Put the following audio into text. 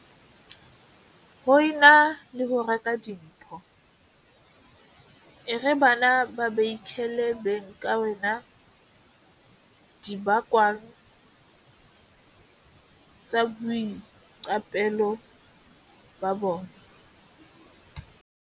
Ho e na le ho reka dimpho, e re bana ba beikhele beng ka wena dibakwang tsa boiqapelo ba bona.